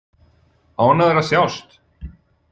Ánægðar að sjást.